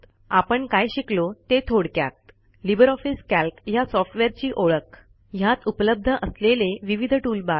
आपण काय शिकलो ते थोडक्यात लिबर ऑफिस कॅल्क ह्या सॉफ्टवेअरची ओळख ह्यात उपलब्ध असलेले विविध टूलबार्स